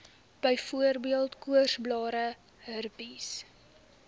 byvoorbeeld koorsblare herpes